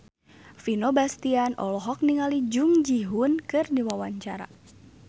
Vino Bastian olohok ningali Jung Ji Hoon keur diwawancara